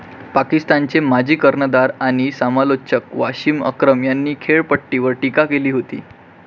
पाकिस्तानचे माजी कर्णधार आणि समालोचक वसिम अक्रम यांनी खेळपट्टीवर टीका केली होती.